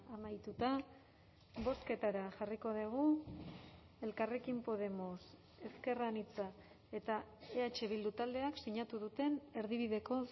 amaituta bozketara jarriko dugu elkarrekin podemos ezker anitza eta eh bildu taldeak sinatu duten erdibideko